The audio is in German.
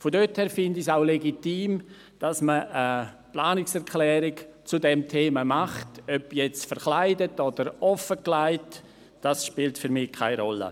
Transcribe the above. Daher finde ich es legitim, zu diesem Thema eine Planungserklärung einzureichen, ob jetzt verkleidet oder offengelegt, das spielt für mich keine Rolle.